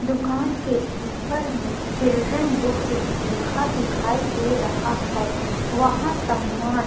दुकान के ऊपर में चिल्ड्रन बुक्स लिखा दिखाई दे रहा है वहा सम्मान --